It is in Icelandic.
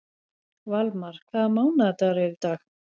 Valmar, hvaða mánaðardagur er í dag?